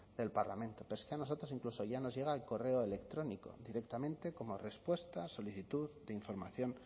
del parlamento pero es que a nosotros incluso ya nos llega el correo electrónico directamente como respuesta a solicitud de información